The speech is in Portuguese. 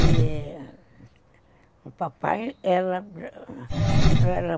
E o papai era era